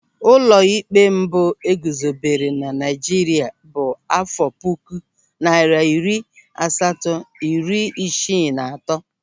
Ụlọịkpe mbụ eguzobere na Naịjirịa bụ áfọ̀ puku narị iri asatọ na iri isii na atọ.